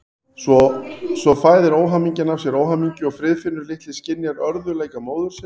Svo fæðir óhamingjan af sér óhamingju og Friðfinnur litli skynjar örðugleika móður sinnar.